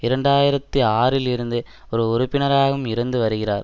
இரண்டு ஆயிரத்தி ஆறில் இருந்து ஒரு உறுப்பினராகவும் இருந்து வருகிறார்